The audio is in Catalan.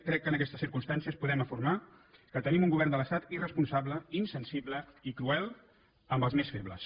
crec que en aquestes circumstàncies podem afirmar que tenim un govern de l’estat irresponsable insensible i cruel amb els més febles